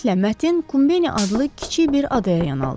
Tezliklə Mətin Kumbeni adlı kiçik bir adaya yan aldı.